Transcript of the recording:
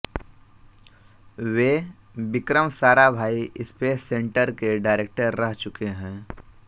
वे Vikram Sarabhai space centre के director रह चुके हैं